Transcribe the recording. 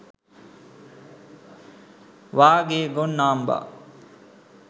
වාගේ ගොන් නාම්බා